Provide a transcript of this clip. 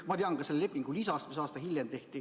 Ma tean ka selle lepingu lisast, mis tehti aasta hiljem.